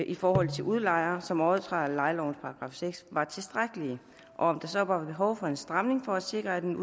i forhold til udlejere som overtræder lejelovens § seks var tilstrækkelige og om der så var behov for en stramning for at sikre at en